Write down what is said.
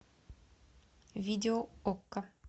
видео окко